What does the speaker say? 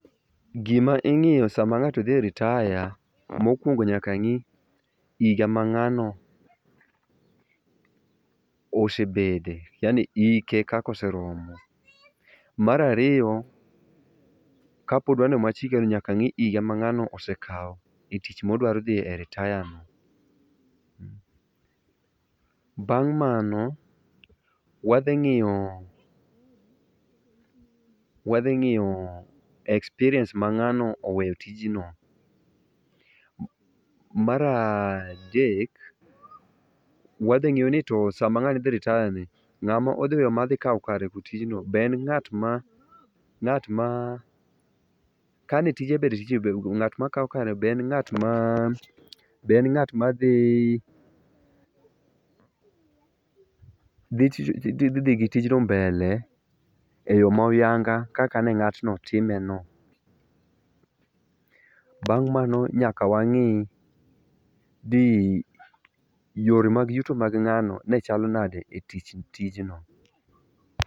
Gima ing'iyo sama ng'ato dhi e ritaya, mokuongo nyaka ngi higa ma ng'ano osebede yaani hike kaka oseromo. Mar ariyo, kapod wan nyaka ngi higa ma ng'ano osekao e tich modwaro dhie ritaya no.Bang' mano, wadhi ng'iyo ,wadhi ng'iyo experience ma ng'ano oweyo e tijno. Mar adek, wadhi ng'iyo ni to sama ng'ani dhi e ritaya ni, ng'ama odhi weyo madhi kao kare e tijno be en ng'atma, ng'atma kane tije ber, to [?.]Ngat makao kare be en ng'atma, ng'atma, ngatma dhi ,dhi ,dhi gi tijno mbele e yoo ma huyanga kaka ne ngatno time no.Bang' mano nyaka wangi yore mag yuto mag ngano ne chalo nade e tich, tijno